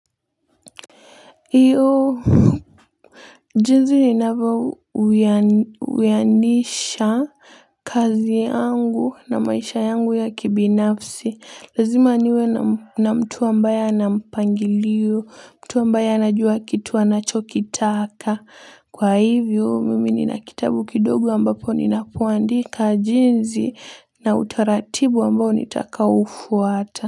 Iyo jinsi inavyo uyanisha kazi yangu na maisha yangu ya kibinafsi lazima niwe na mtu ambaye anampangilio mtu ambaye anajua kitu anachokitaka kwa hivyo mimi nina kitabu kidogo ambapo nina kuandika jinsi na utaratibu ambao nitaka ufuata.